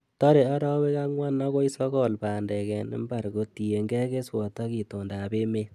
Tore orowek angwan akoi sokol bandek en mbar kotiengei keswot ak itondab emet.